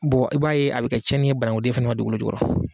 Bon i b'a ye a bɛ tiɲɛni ye bananku den fana ma dugukolo jukɔrɔ.